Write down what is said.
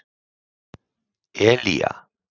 Elía